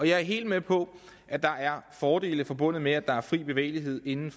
jeg er helt med på at der er fordele forbundet med at der er fri bevægelighed inden